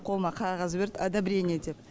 қолыма қағаз берді одобрение деп